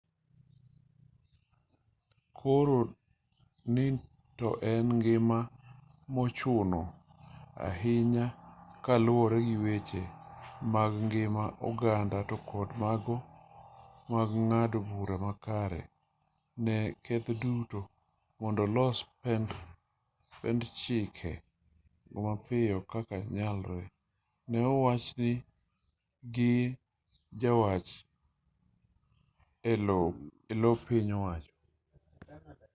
koro ni to en gima ochuno ahinya kaluwore gi weche mag ngima oganda to kod mago mag ng'ado bura makare ne keth duto mondo olos pend chike go mapiyo kaka nyalore ne owachi gi jawach e lo piny owacho